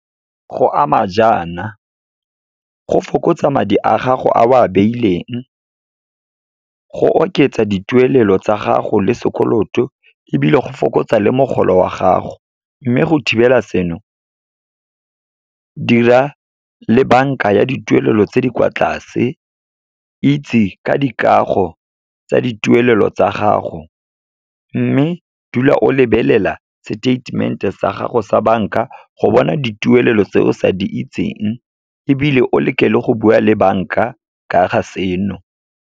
Go ama jaana, go fokotsa madi a gago a o a beileng, go oketsa dituelo tsa gago le sekoloto, ebile go fokotsa le mogolo wa gago. Mme go thibela seno, dira le banka ya dituelelo tse di kwa tlase, itse ka dikago tsa dituelelo tsa gago, mme dula o lebelela se statement-e sa gago sa banka, go bona dituelelo tse o sa di itseng, ebile o leke le go bua le banka ka ga seno.